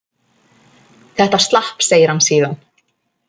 Þetta slapp, segir hann síðan.